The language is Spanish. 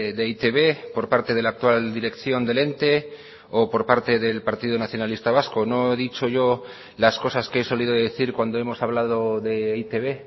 de e i te be por parte de la actual dirección del ente o por parte del partido nacionalista vasco no he dicho yo las cosas que he solido decir cuando hemos hablado de e i te be